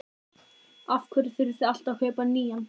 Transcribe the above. Af hverju þurfið þið alltaf að kaupa nýjan?